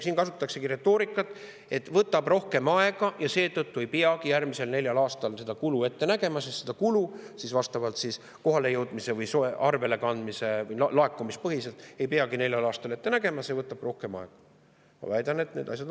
Siin kasutataksegi retoorikat, et see võtab rohkem aega ja seetõttu ei peagi järgmisel neljal aastal seda kulu ette nägema, seda kulu ei peagi kohalejõudmise või arvelekandmise ja laekumise põhiselt neljal aastal ette nägema, see võtab rohkem aega.